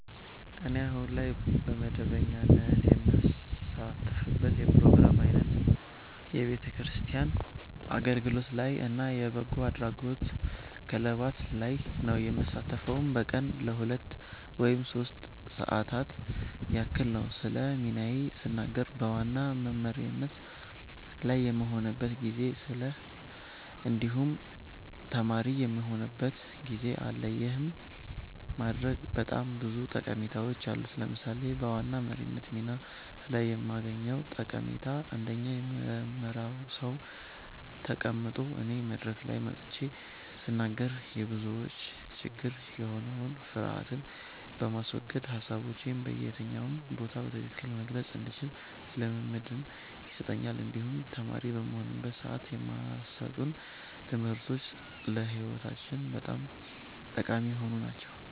እኔ አሁን ላይ በመደበኛነት የምሳተፍበት የፕሮግራም አይነት የቤተክርስቲያን አገልግሎት ላይ እና የበጎ አድራጎት ክለባት ላይ ነዉ። የምሳተፈዉም በቀን ለሁለት ወይም ሶስት ሰዓታት ያክል ነዉ። ስለ ሚናዬ ስናገር በዋና በመሪነት ላይ የምሆንበትም ጊዜ አለ እንዲሁም ተማሪ የምሆንበትም ጊዜ አለ ይህን ማድረጌ በጣም ብዙ ጠቀሜታዎች አሉት። ለምሳሌ በዋና መሪነት ሚና ላይ የማገኘዉ ጠቀሜታ አንደኛ የምመራዉ ሰዉ ተቀምጦ እኔ መድረክ ላይ ወጥቼ ስናገር የብዙዎች ችግር የሆነዉን ፍርሀትን በማስወገድ ሀሳቦቼን በየትኛው ቦታ በትክክል መግለፅ እንድችል ልምምድን ይሰጠኛል እንዲሁም ተማሪ በምሆንበት ሰዓትም የማሰጡን ትምህርቶች ለህይወታችን በጣም ጠቃሚ የሆኑ ናቸዉ።